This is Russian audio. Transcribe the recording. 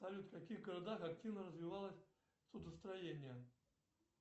салют в каких городах активно развивалось судостроение